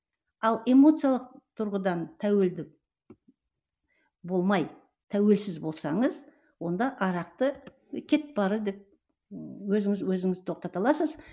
ал эмоциялық тұрғыдан тәуелді болмай тәуелсіз болсаңыз онда арақты кет бар деп ыыы өзіңізді өзіңіз тоқтата аласыз